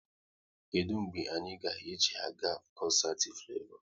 Kedụ mgbe anyị ga eji a ga koncert Flevo?